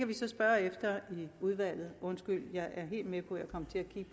vi så spørge efter i udvalget … undskyld jeg er helt med